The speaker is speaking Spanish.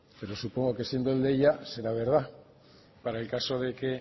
pero supongo que siendo el deia será verdad para el caso de que